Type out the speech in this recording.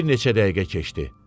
Bir neçə dəqiqə keçdi.